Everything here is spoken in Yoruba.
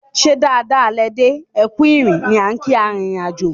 "ṣe dáadáa lẹ dé, ẹkù ìrìn" ni á n kii arìnrìn-àjò.